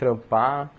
Trampar.